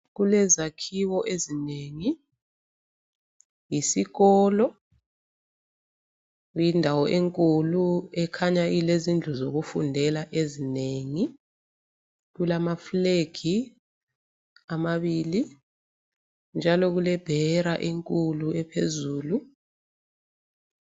Kulezakhiwo ezinengi. Yisikolo. Lindawo enkulu ekhanya ilezindlu zokufundela ezinengi. Kulama flegi amabili njalo kulebhera enkulu ephezulu.